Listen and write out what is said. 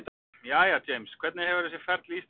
Jæja James, hvernig hefur þessi ferð til Íslands verið?